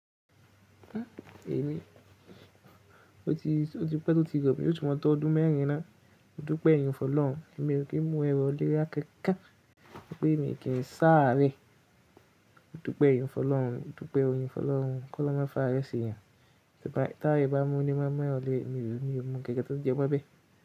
Èmi, ó ti pẹ́ tó ti gọ̀ mí yóò túnmọ̀ tó ọdún mẹ́rin ná. Dúpẹ́ yun fọloun, èmi kí n mu ẹrọ olórí akẹ́kà, bí mo kí n sáré. Óloun dúpẹ́ oyin fọlọ́un, kọ́lọ́un máa fàrẹ́ se yan. Tí ayé bá mú ní máa mú ẹrọ olórí, mi ò mọ̀ gẹ́gẹ́ tó jẹ pé bí.